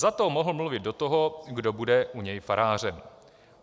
Za to mohl mluvit do toho, kdo bude u něj farářem.